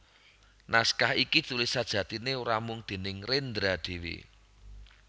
Naskah iki ditulis sejatiné ora mung déning Rendra dhéwé